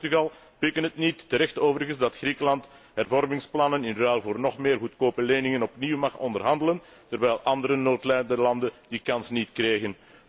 Spanje en Portugal pikken het niet, terecht overigens, dat Griekenland hervormingsplannen in ruil voor nog meer goedkope leningen opnieuw mag onderhandelen terwijl andere noodlijdende landen die kans niet kregen.